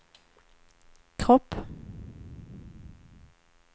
kropp